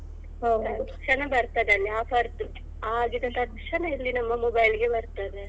ತಕ್ಷಣ ಬರ್ತದಲ್ಲ offer ದ್ದು ಆಗಿದ ತಕ್ಷಣ ಇಲ್ಲಿ ನಮ್ಮ mobile ಗೆ ಬರ್ತದೇ.